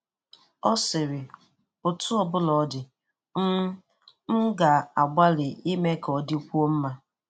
Ọ sịrị ’ọtụ ọbụla ọ di, m m ga-agbalị ịme ka ọ dịkwuọ nma.’